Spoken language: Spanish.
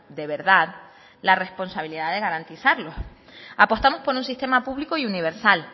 de verdad la responsabilidad de garantizarlo apostamos por un sistema público y universal